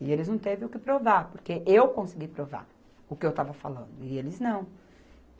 E eles não teve o que provar, porque eu consegui provar o que eu estava falando, e eles não.